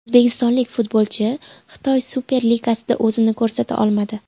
O‘zbekistonlik futbolchi Xitoy Super Ligasida o‘zini ko‘rsata olmadi.